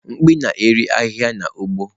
Mkpi na-eri ahihia n’ugbo.